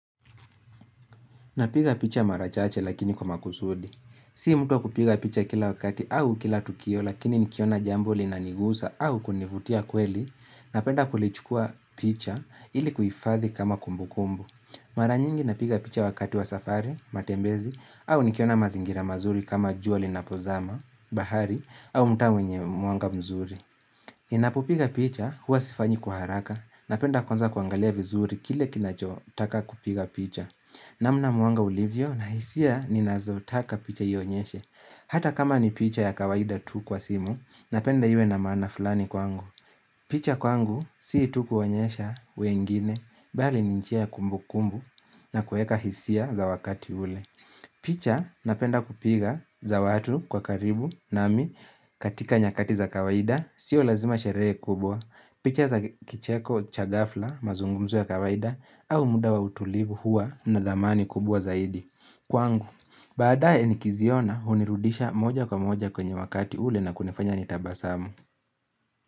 Napiga picha mara chache lakini kwa makusudi. Si mtu wa kupiga picha kila wakati au kila tukio lakini nikiona jambo linanigusa au kunivutia kweli napenda kulichukua picha ili kuhifadhi kama kumbukumbu. Mara nyingi napiga picha wakati wa safari, matembezi au nikiona mazingira mazuri kama jua linapozama, bahari au mtaa wenye mwanga mzuri. Ninapopiga picha huwa sifanyi kwa haraka napenda kwanza kuangalia vizuri kile kinacho taka kupiga picha. Namna mwanga ulivyo na hisia ninazotaka picha ionyeshe Hata kama ni picha ya kawaida tu kwa simu Napenda iwe na maana fulani kwangu picha kwangu si tu kuonyesha wengine Bali ni njia ya kumbukumbu na kuweka hisia za wakati ule picha napenda kupiga za watu kwa karibu nami katika nyakati za kawaida Sio lazima sherehe kubwa picha za kicheko cha gafla mazungumzo ya kawaida au muda wa utulivu huwa na dhamani kubwa zaidi. Kwangu, baadaye nikiziona hunirudisha moja kwa moja kwenye wakati ule na kunafanya nitabasamu.